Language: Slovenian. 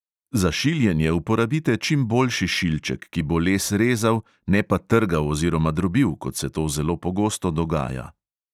Za šiljenje uporabite čim boljši šilček, ki bo les rezal, ne pa trgal oziroma drobil, kot se to zelo pogosto dogaja.